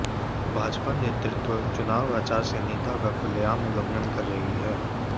भाजपा नेतृत्व चुनाव आचार संहिता का खुलेआम उल्लंघन कर रही हैं